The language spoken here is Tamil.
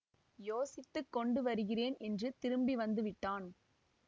யோசித்து கொண்டு வருகிறேன் என்று திரும்பி வந்துவிட்டான்